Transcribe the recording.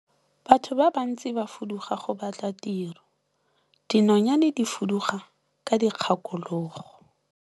Batho ba bantsi ba fuduga go batla tiro, dinonyane di fuduga ka dikgakologo.